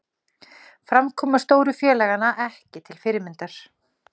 Framkoma stóru félaganna ekki til fyrirmyndar